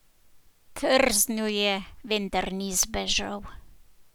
Trznil je, vendar ni zbežal.